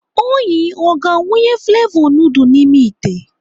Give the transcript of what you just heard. Onyi ọ ga-awụnye flevọ nudul n'ime ite?